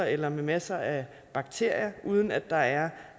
eller med masser af bakterier per uden at der er